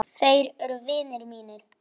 Þeir eru vinir mínir.